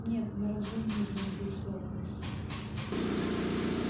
нет на разумную заинтересованность